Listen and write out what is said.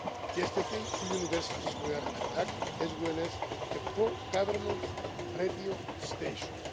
Yesterday two universities were attacked, as well as a pro-government radio station.